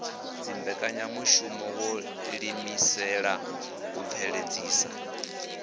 dzimbekanyamushumo wo ḓiimisela u bveledzisa